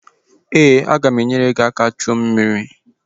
Ee, aga m enyere gị aka chuo mmiri